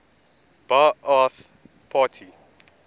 ba ath party